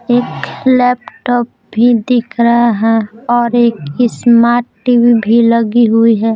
एक लैपटॉप भी दिख रहा है और एक स्मार्ट टीवी भी लगी हुई है।